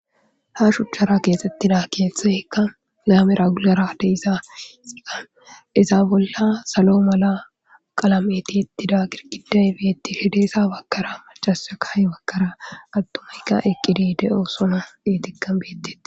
Ha shuchchara keexxettida keeththay hekka gaamera guarade isaa xiqa izaa bolla salo mala qalameti ittida girkiday beettihideesa bakkara macasa kahi bakkaraa attumikka eqqidide7o sona diitikka beetteti.